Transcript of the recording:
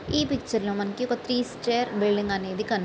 ఈ పిక్చర్ లో మనకి ఒక త్రీ స్టార్ బిల్డింగ్ అనేది కాని --